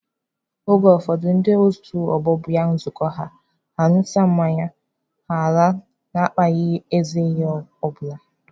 Oge ụfọdụ ndị otu ọgbọ bịa nzukọ ha, ha ṅụsịa mmanya, ha alaa na-akpaghị ezi ihe ọ bụla